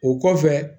O kɔfɛ